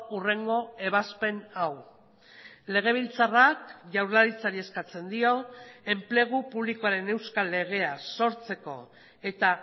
hurrengo ebazpen hau legebiltzarrak jaurlaritzari eskatzen dio enplegu publikoaren euskal legea sortzeko eta